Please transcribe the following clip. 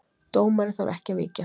Dómari þarf ekki að víkja